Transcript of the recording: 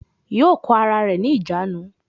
Yóò kó ara rẹ̀ ní ìjánu